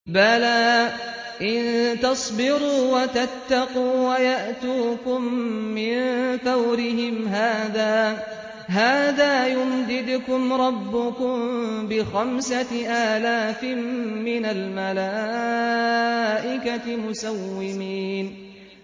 بَلَىٰ ۚ إِن تَصْبِرُوا وَتَتَّقُوا وَيَأْتُوكُم مِّن فَوْرِهِمْ هَٰذَا يُمْدِدْكُمْ رَبُّكُم بِخَمْسَةِ آلَافٍ مِّنَ الْمَلَائِكَةِ مُسَوِّمِينَ